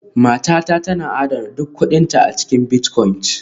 Matata tana adana duk kuɗinta a cikin bitcoins